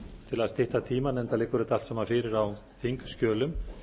til að stytta tímann enda liggur þetta allt saman fyrir á þingskjölum